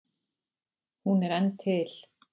Hún er enn til.